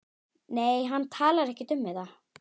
Nei, hann talar ekkert um þetta.